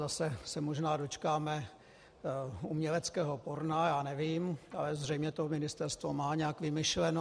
Zase se možná dočkáme uměleckého porna, já nevím, ale zřejmě to ministerstvo má nějak vymyšleno.